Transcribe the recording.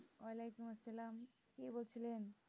ওয়ালাইকুম আসসালাম, কি করছিলেন